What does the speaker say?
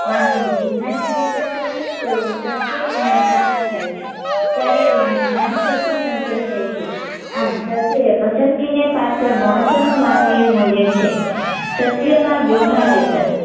માનવી ની જીજ્ઞાસા ને સંતોષે તેવું સત્ય જ્ઞાન પ્રાપ્ત થાય છે ત્યારે તેને જ્ઞાન શકતી સંતોષાય છે આમ સત્ય એ પસંદગી ને પાત્ર મહત્વ નું માનવી એ મુલ્ય છે સત્ય માં વ્યવ્હારીતા